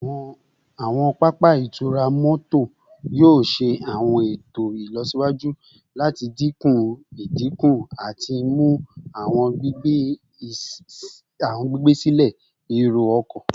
Awọn papa itura mọto yoo ṣe awọn eto ilọsiwaju lati dinku idinku ati mu awọn gbigbe silẹ ero-ọkọ